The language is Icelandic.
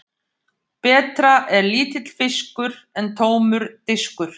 Betra er lítill fiskur en tómur diskur.